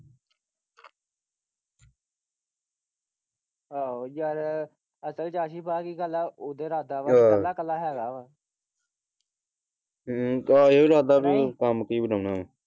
ਆਹੋ ਯਾਰ ਅਸਲ ਚ ਆਹੀ ਬਾਕੀ ਗੱਲ ਆ ਓਹਦਾ ਰਾਦਾ ਵਾ ਆਹੋ ਹੈਗਾ ਵਾ ਹਮ ਓਹਦਾ ਇਹੋ ਇਰਾਦਾ ਵਾ ਕੰਮ ਕੀ ਵਾ।